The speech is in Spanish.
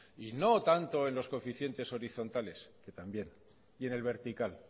y no tanto en los coeficientes horizontales que también y en el vertical